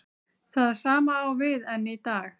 Það sama á við enn í dag.